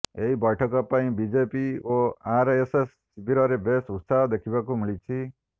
ଏହି ବୈଠକ ପାଇଁ ବିଜେପି ଓ ଆରଏସଏସ ଶିବିରରେ ବେଶ୍ ଉତ୍ସାହ ଦେଖିବାକୁ ମିଳିଛି